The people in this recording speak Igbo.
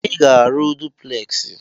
Ị ga-arụ dupleksị!